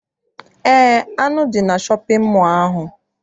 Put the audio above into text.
Eé, anụ dị na shọpịn mọọ ahụ.